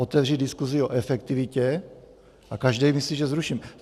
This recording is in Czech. Otevřít diskusi o efektivitě a každý myslí, že zruším.